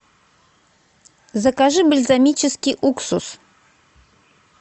закажи бальзамический уксус